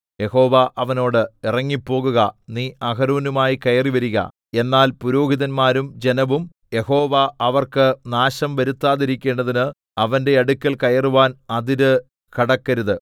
യഹോവ അവനോട് ഇറങ്ങിപ്പോകുക നീ അഹരോനുമായി കയറിവരിക എന്നാൽ പുരോഹിതന്മാരും ജനവും യഹോവ അവർക്ക് നാശം വരുത്താതിരിക്കേണ്ടതിന് അവന്റെ അടുക്കൽ കയറുവാൻ അതിര് കടക്കരുത്